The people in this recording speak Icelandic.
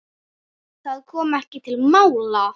Það kom ekki til mála.